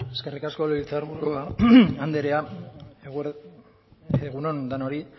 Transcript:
eskerrik asko legebiltzar buru andrea egun on denoi